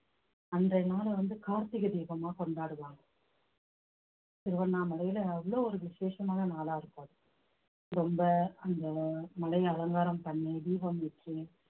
அன்றைய நாளை வந்து கார்த்திகை தீபமா கொண்டாடுவாங்க திருவண்ணாமலையில அவ்வளவு ஒரு விசேஷமான நாளா இருக்கும் ரொம்ப அந்த மலைய அலங்காரம் பண்ணி தீபம் வச்சு